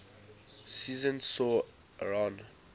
season saw aaron